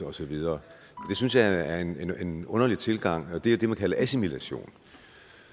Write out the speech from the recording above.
og så videre det synes jeg er en en underlig tilgang og det er jo det man kalder assimilation